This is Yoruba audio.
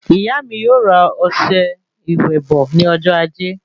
Ìyá mí yóò ra ọsẹ ìwẹ̀ bò ní ọjọ ajé